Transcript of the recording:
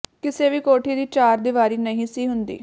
ਕਿਸੇ ਵੀ ਕੋਠੀ ਦੀ ਚਾਰ ਦੀਵਾਰੀ ਨਹੀਂ ਸੀ ਹੁੰਦੀ